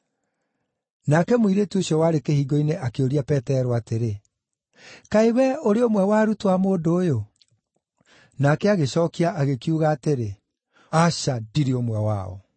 Nake mũirĩtu ũcio warĩ kĩhingo-inĩ akĩũria Petero atĩrĩ, “Kaĩ wee ũrĩ ũmwe wa arutwo a mũndũ ũyũ?” Nake agĩcookia agĩkiuga atĩrĩ, “Aca, ndirĩ ũmwe wao.”